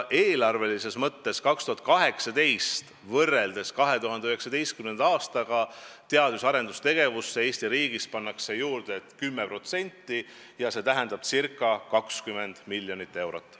Eelarves pannakse 2019. aastal 2018. aastaga võrreldes teadus- ja arendustegevusse Eesti riigis juurde 10% ja see tähendab ca 20 miljonit eurot.